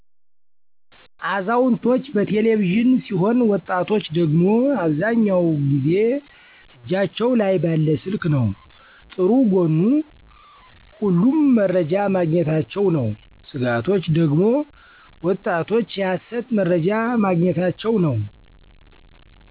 አዛውንቶች በቴለቪዥን ሲሆን ወጣቶች ደግሞ አብዛኛው ጊዜ እጃቸው ላይ ባለ ስልክ ነው። ጥሩ ጎኑ ሁሉም መረጃ ማግኝታቸ ነው። ስጋቶች ደግሞ ወጣቶች የሀሰት መርጃ ማግኝታቸው ነው።